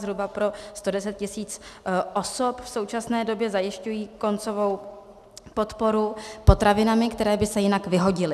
Zhruba pro 110 tis. osob v současné době zajišťují koncovou podporu potravinami, které by se jinak vyhodily.